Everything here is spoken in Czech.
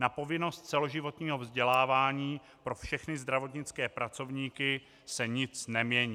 Na povinnosti celoživotního vzdělávání pro všechny zdravotnické pracovníky se nic nemění.